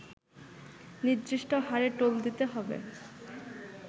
নির্দিষ্ট হারে টোল দিতে হবে